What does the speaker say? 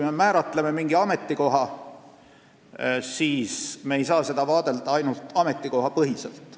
Me ei saa seda teemat vaadelda ainult ametikohapõhiselt.